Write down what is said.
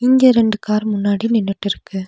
இங்க ரெண்டு கார் முன்னாடி நின்னுட்டுருக்கு.